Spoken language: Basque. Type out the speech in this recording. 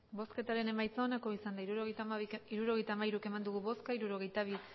hirurogeita hamairu eman dugu bozka hirurogeita bi